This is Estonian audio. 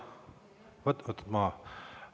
Võtke maha!